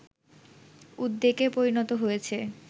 উদ্বেগে পরিণত হয়েছে